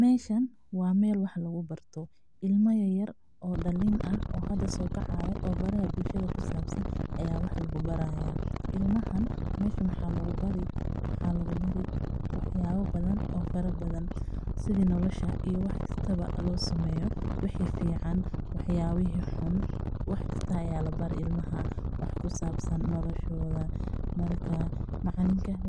Meeshan waa meel wax lagu barto ilma yar oo dalin ah oo hada soo kacaayo meeshan waxa lagu bari